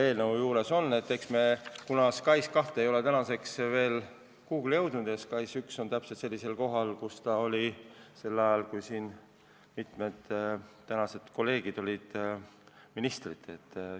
SKAIS2 ei ole veel kuhugi jõudnud ja SKAIS1 on täpselt seal kohal, kus ta oli sel ajal, kui mitmed tänased kolleegid olid ministrid.